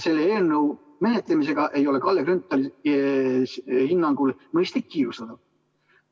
Selle eelnõu menetlemisega ei ole Kalle Grünthali hinnangul mõistlik kiirustada.